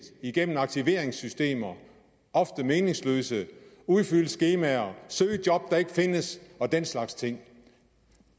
igennem aktiveringssystemer ofte meningsløse udfylde skemaer søge job der ikke findes og den slags ting